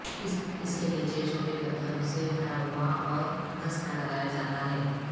اس کے نیچے چھوٹے پتھروں سے بھرا ہوا اور گھسنا لگایا جاتا ہے